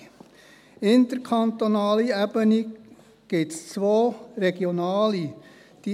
Bei der interkantonalen Ebene gibt es zwei regionale Vereinbarungen: